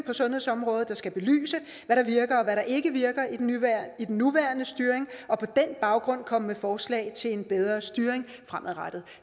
på sundhedsområdet der skal belyse hvad der virker og hvad der ikke virker i den nuværende styring og på den baggrund komme med forslag til en bedre styring fremadrettet